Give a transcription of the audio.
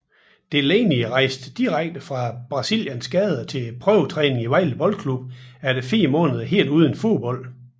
Delani rejste direkte fra Brasilias gader til prøvetræning i Vejle Boldklub efter fire måneder helt uden fodbold